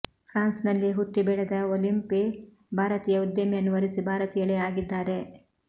ಫ್ರಾನ್ಸ್ನಲ್ಲಿಯೇ ಹುಟ್ಟಿ ಬೆಳೆದ ಒಲಿಂಪೆ ಭಾರತೀಯ ಉದ್ಯಮಿಯನ್ನು ವರಿಸಿ ಭಾರತೀಯಳೇ ಆಗಿದ್ದಾರೆ